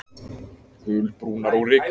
Gulbrúnar og rykugar.